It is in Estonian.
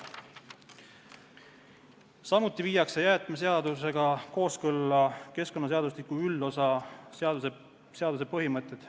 Samuti viiakse jäätmeseadusega kooskõlla keskkonnaseadustiku üldosa seaduse põhimõtted.